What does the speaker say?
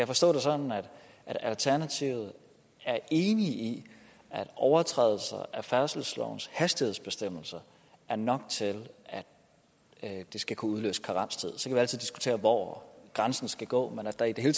forstå det sådan at alternativet er enig i at overtrædelser af færdselslovens hastighedsbestemmelser er nok til at det skal kunne udløse karenstid så kan vi altid diskutere hvor grænsen skal gå men at der i det hele